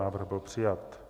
Návrh byl přijat.